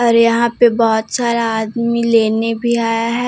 और यहां पे बहोत सारा आदमी लेने भी आया है।